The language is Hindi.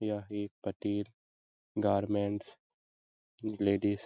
यह एक गारमेंट्स लेडिज --